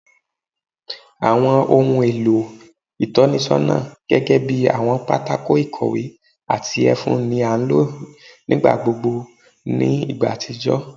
Awọn ohun elo itọnisọna gẹgẹbi awọn pátákó ikowé ati efun ni a lo nigbagbogbo ni igba atijọ